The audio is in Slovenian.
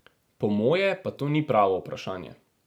Po moje pa to ni pravo vprašanje.